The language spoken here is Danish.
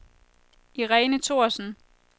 Irene Thorsen